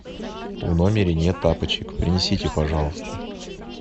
в номере нет тапочек принесите пожалуйста